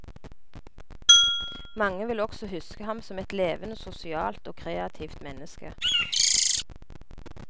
Mange vil også huske ham som et levende sosialt og kreativt menneske.